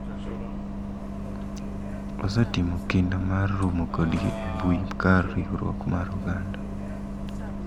Osetimo kinda mar romo kodgi e mbui kar riwruok mar oganda